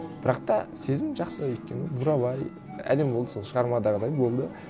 бірақ та сезім жақсы өйткені бурабай әдемі болды сол шығармадағыдай болды